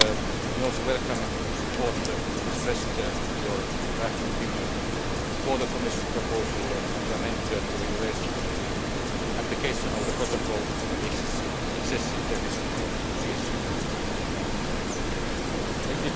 Let me also welcome the support expressed in your draft opinion for the Commission proposal to amend the Regulation on the Application of the Protocol on the Excessive Deficit Procedure Let